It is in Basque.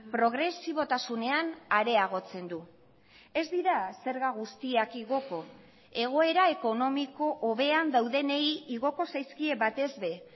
progresibotasunean areagotzen du ez dira zerga guztiak igoko egoera ekonomiko hobean daudenei igoko zaizkie batez ere